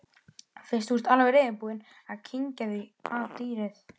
Fyrst þú ert alveg reiðubúinn að kyngja því að dýrið